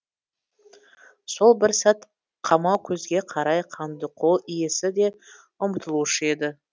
сол бір сәт қамаукөзге қарай қандықол иесі де ұмтылушы еді